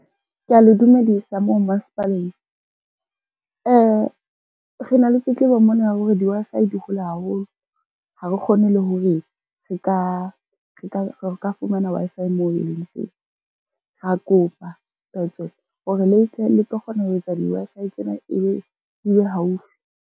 Kea le dumedisa moo masepaleng, rena le tletlebo mona ya hore di-Wi-Fi di hole haholo ha re kgone le hore re ka fumana Wi-Fi moo e leng teng. Ra kopa tswetswe hore le tle le tlo kgona ho etsa di-Wi-Fi tsena di be haufi.